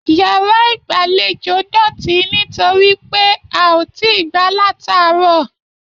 Yàrá igbalejo dótì nitoripe a o tí gbà lataarọ̀.